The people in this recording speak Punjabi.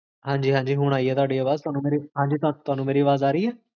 ਹ੍ਜ੍ਕ